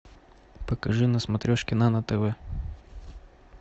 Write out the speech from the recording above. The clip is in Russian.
покажи на смотрешке нано тв